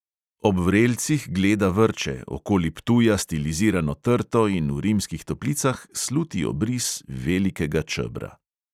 Ob vrelcih gleda vrče, okoli ptuja stilizirano trto in v rimskih toplicah sluti obris velikega čebra.